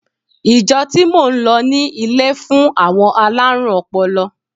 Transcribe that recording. Ìjọ tí mò ń lọ ní ilé fún àwọn alárùn ọpọlọ.